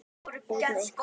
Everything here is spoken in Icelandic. Út með ykkur.